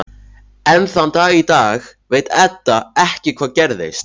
Enn þann dag í dag veit Edda ekki hvað gerðist.